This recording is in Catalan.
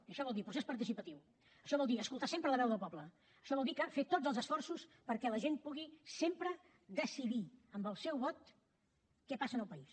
i això vol dir procés participatiu això vol dir escoltar sempre la veu del poble això vol dir fer tots els esforços perquè la gent pugui sempre decidir amb el seu vot què passa al país